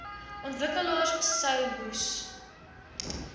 ontwikkelaars sou moes